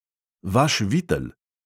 Vaš vitel!